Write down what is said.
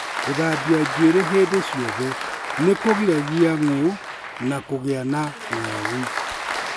Gũthambia njuĩrĩ hĩndĩ ciothe nĩ kũgiragia ng'ũũ na kũgĩa na ng'aragu.